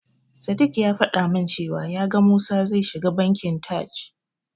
Sadiq ya faɗa min cewa ya ga Musa zai shiga Bankin Taj.